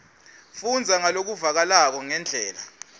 fundza ngalokuvakalako ngendlela